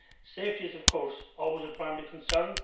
Safety is, of course, always a primary concern